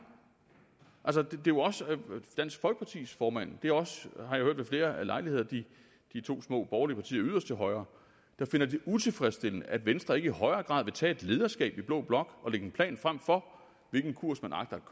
det er også dansk folkepartis formand det er også har jeg hørt ved flere lejligheder de to små borgerlige partier yderst til højre der finder det utilfredsstillende at venstre ikke i højere grad vil tage et lederskab i blå blok og lægge en plan frem for hvilken kurs man agter